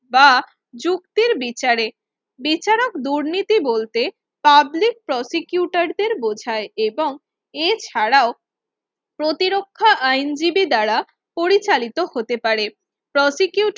বা যুক্তির বিচারে বিচারক দুর্নীতি বলতে পাবলিক prosecutor দের বোঝায় এবং এছাড়াও প্রতিরক্ষা আইনজীবী দ্বারা পরিচালিত হতে পারে প্রসিকিউটার